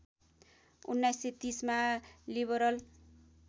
१९३० मा लिवरल